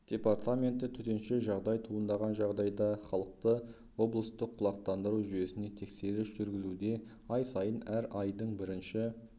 департаменті төтенше жағдай туындаған жағдайда халықты облыстық құлақтандыру жүйесіне тексеріс жүргізуде ай сайын әр айдын бірінші